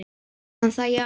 Sagði hann það já.